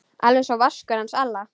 Alveg einsog Vaskur hans Alla?